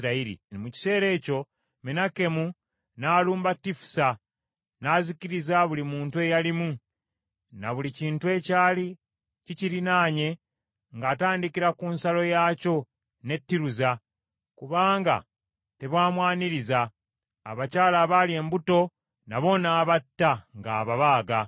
Mu kiseera ekyo Menakemu n’alumba Tifusa n’azikiriza buli muntu eyalimu, na buli kintu ekyali kikirinaanye ng’atandikira ku nsalo yaakyo ne Tiruza, kubanga tebaamwaniriza. Abakyala abaali embuto nabo n’abatta ng’ababaaga.